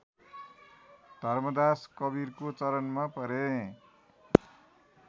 धर्मदास कवीरको चरणमा परे